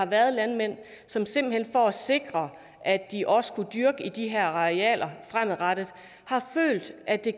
der er landmænd som simpelt hen for at sikre at de også kan dyrke på de her arealer fremadrettet har følt at det